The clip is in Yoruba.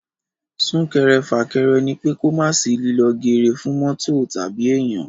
Sún-kẹrẹ-fà-kẹrẹ ní pé kò mà sí líló geere fún mọ́tò tàbí èèyan.